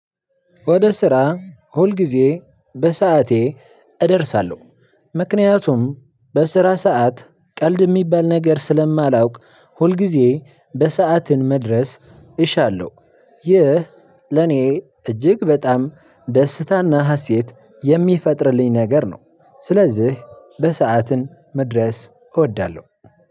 ወደ ስራ ሁል ጊዜ በሰአቴ እደርሳለሁ ምክንያቱም በስራ ሰዓት ቀልድ የሚባል ነገር ስለማላውቅ ሁልጊዜ በሰዓትን መድረስ እሻለሁ። ይህ ለኔ እጅግ በጣም ደስታና ሃሴት የሚፈጥርልኝ ነገር ነው። ስለዚህ በሰአትን መድረስ እወዳለሁ።